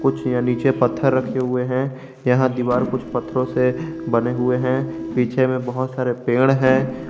नीचे पत्थर रखे हुए हैं यहां दीवार कुछ पत्थरों से बने हुए हैं पीछे में बहुत सारे पेड़ हैं।